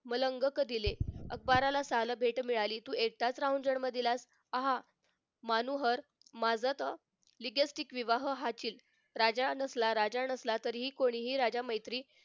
मलंग करील अकबाराला सान भेट मिळाली तू एकटाच राहून जन्म दिलासा आहा मनोहर माजत like-stick विवाह आचिल राजा नसला राजा नसला तरीही मैत्री कोणीही